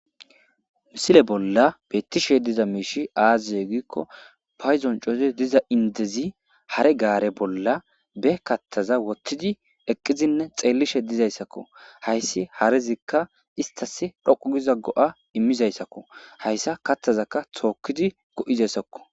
Misile bollan betishe dizayisi aze giyaba gidiko payidon co,rizi diza indezi hare gare bolla be kathaza wotizi eqidinne xelishe dizayisako hayisi harezika istasi dhoqu giza go,a imizayisako hayisa katazaka tokidi go,izayisako